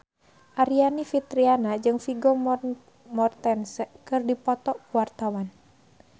Aryani Fitriana jeung Vigo Mortensen keur dipoto ku wartawan